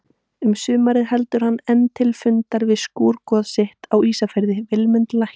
Um sumarið heldur hann enn til fundar við skúrgoð sitt á Ísafirði, Vilmund lækni.